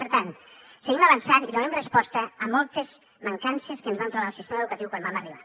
per tant seguim avançant i donem resposta a moltes mancances que ens vam trobar el sistema educatiu quan vam arribar